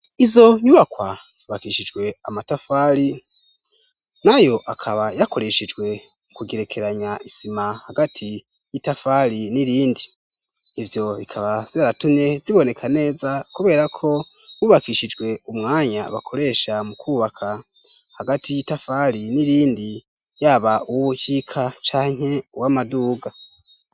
Izo nyubakwa zubakishijwe amatafari na yo akaba yakoreshijwe mu kugerekeranya isima hagati y'itafali n'irindi ivyo bikaba zaratune ziboneka neza kubera ko wubakishijwe umwanya bakoresha mu kubaka hagati y'itafali n'irindi yaba uwukika canke w'amaduga.